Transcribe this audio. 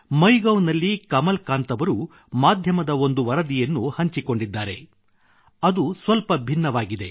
MyGov ನಲ್ಲಿ ಕಮಲ್ ಕಾಂತ್ ಅವರು ಮಾಧ್ಯಮದ ಒಂದು ವರದಿಯನ್ನು ಹಂಚಿಕೊಂಡಿದ್ದಾರೆ ಅದು ಸ್ವಲ್ಪ ಭಿನ್ನವಾಗಿದೆ